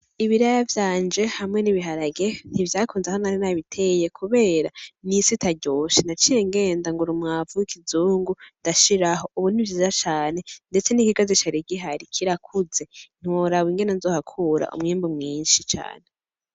Ibiraya vyanje hamwe n'ibiharage ntivyakunze aho nari nabiteye kubera n'isi itaryoshe, naciye ngenda ngura umwavu w'ikizungu ndashiraho, ubu ni vyiza cane ndetse n'ikigazi cari gihari kirakuze ntiworaba ingene nzohakura umwimbu mwinshi cane.